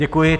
Děkuji.